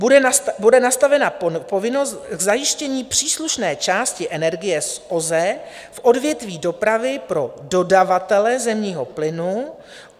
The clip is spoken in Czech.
Bude nastavena povinnost k zajištění příslušné části energie z OZE v odvětví dopravy pro dodavatele zemního plynu.